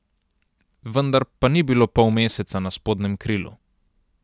Vendar pa ni bilo polmeseca na spodnjem krilu.